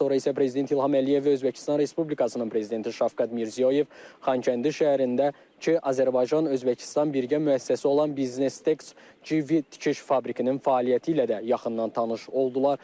Daha sonra isə prezident İlham Əliyev, Özbəkistan Respublikasının prezidenti Şavkat Mirziyoyev Xankəndi şəhərindəki Azərbaycan-Özbəkistan birgə müəssisəsi olan Business Tex JV tikiş fabrikinin fəaliyyəti ilə də yaxından tanış oldular.